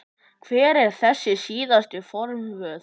Hver eru þessi síðustu forvöð?